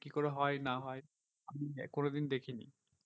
কি করে হয় না হয় কোনোদিন দেখিনি।